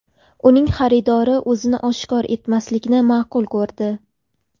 Uning xaridori o‘zini oshkor etmaslikni ma’qul ko‘rdi.